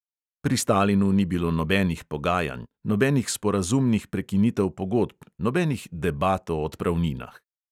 Pri stalinu ni bilo nobenih pogajanj, nobenih sporazumnih prekinitev pogodb, nobenih debat o odpravninah.